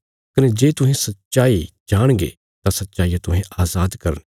कने जे तुहें सच्चाई जाणगे तां सच्चाईया तुहें अजाद करने